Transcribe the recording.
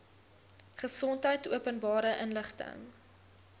gesondheid openbare inligting